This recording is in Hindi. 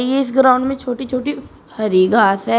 इ इस ग्राउंड में छोटी छोटी हरी घास है।